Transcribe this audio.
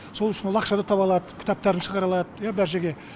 сол үшін ол ақшаны таба алады кітаптарын шығара алады иә бар жерге